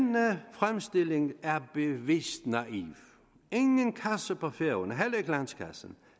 fremstilling er bevidst naiv ingen kasse på færøerne heller ikke landskassen